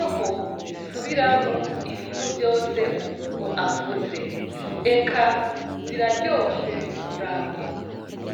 aho zisubiramwo ibintu vyose umuntu avuze. Eka ziraryoshe kuraba.